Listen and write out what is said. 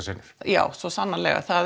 senur já svo sannarlega